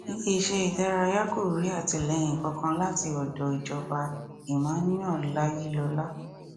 ilé iṣẹ ìdárayá kò rí àtìlẹyìn kankan láti ọdọ ìjọba emmanuel ayilọla